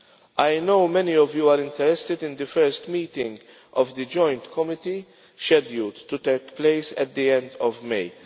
I know many of you are interested in the first meeting of the joint committee, scheduled to take place at the end of